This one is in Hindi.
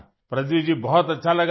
प्रदीप जी बहुत अच्छा लगा मुझे